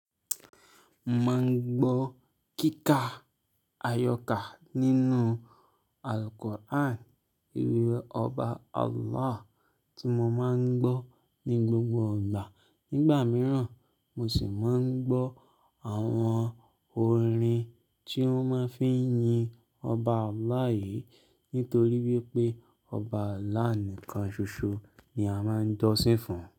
Mo máa ń gbọ́ kíkà ayọkà nínú Al-Quran, ìwé ọba Allah tí mo máa ń gbọ́ ní gbogbo ìgbà. Nígbà mìíràn, mo sì máa ń gbọ́ àwọn orin tí wọ́n máa ń fi yin ọba Allah yìí nítorí wípé ọba Allah nìkan ṣoṣo ni a máa ń jósìn fún.